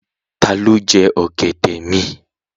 Ta ló jẹ ọ̀gẹ̀dẹ̀ mi?